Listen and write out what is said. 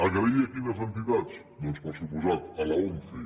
agrair a quines entitats doncs per descomptat a l’once